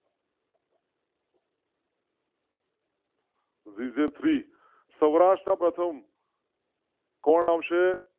વિજય three, Saurashtra પ્રથમ કોણ આવશે?